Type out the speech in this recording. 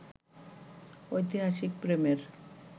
ঐতিহাসিক প্রেমের